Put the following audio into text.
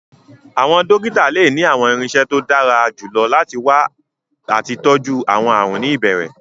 Àwọn dókítà lè ní àwọn irinṣẹ́ tó dára jù lọ láti wá àti tọjú àwọn àrùn ní ìbẹ̀rẹ̀